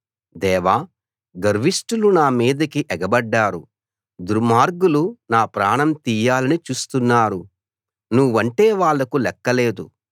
దేవా గర్విష్ఠులు నా మీదికి ఎగబడ్డారు దుర్మార్గులు నా ప్రాణం తీయాలని చూస్తున్నారు నువ్వంటే వాళ్ళకు లెక్క లేదు